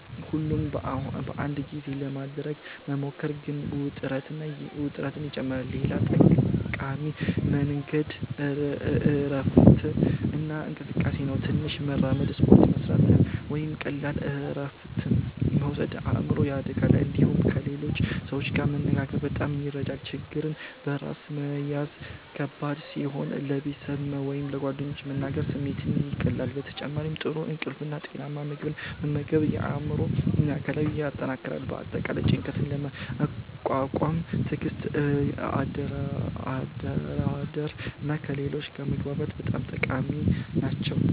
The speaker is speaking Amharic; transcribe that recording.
ሁሉን በአንድ ጊዜ ለማድረግ መሞከር ግን ውጥረትን ይጨምራል። ሌላ ጠቃሚ መንገድ እረፍት እና እንቅስቃሴ ነው። ትንሽ መራመድ፣ ስፖርት መስራት ወይም ቀላል እረፍት መውሰድ አእምሮን ያረጋጋል። እንዲሁም ከሌሎች ሰዎች ጋር መነጋገር በጣም ይረዳል። ችግርን በራስ መያዝ ከባድ ሲሆን ለቤተሰብ ወይም ለጓደኞች መናገር ስሜትን ያቀላል። በተጨማሪም ጥሩ እንቅልፍ እና ጤናማ ምግብ መመገብ አእምሮን እና አካልን ያጠናክራል። በአጠቃላይ ጭንቀትን ለመቋቋም ትዕግስት፣ አደራደር እና ከሌሎች ጋር መግባባት በጣም ጠቃሚ ናቸው።